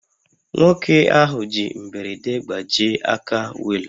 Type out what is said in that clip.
Nwoke ahụ ji mberede gbajie aka wheel